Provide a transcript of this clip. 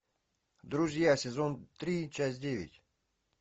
друзья сезон три часть девять